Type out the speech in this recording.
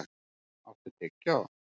Keran, áttu tyggjó?